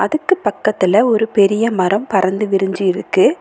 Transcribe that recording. அதுக்கு பக்கத்துல ஒரு பெரிய மரம் பறந்து விரிஞ்சி இருக்கு.